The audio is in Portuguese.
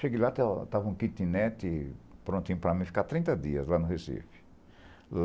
Cheguei lá, estava estava um quitinete prontinho para mim, ficar trinta dias lá no Recife.